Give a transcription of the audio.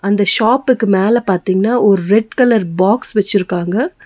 அந்த ஷாப்புக்கு மேல பாத்தீங்னா ஒரு ரெட் கலர் பாக்ஸ் வச்சுருக்காங்க.